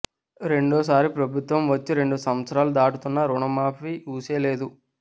రెండో సారి ప్రభుత్వం వచ్చి రెండు సంవత్సరాలు దాటుతున్న రుణమాఫీ ఊసేలేదు